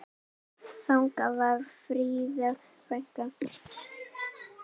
Þannig var Fríða frænka.